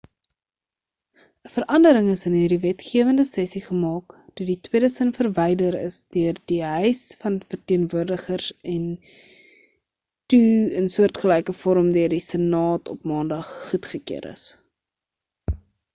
'n verandering is in hierdie wetgewende sessie gemaak toe die tweede sin verwyder is deur die huis van verteenwoordigers en toe in soortgelyke vorm deur die senaat op maandag goedgekeur is